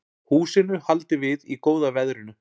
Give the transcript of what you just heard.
Húsinu haldið við í góða veðrinu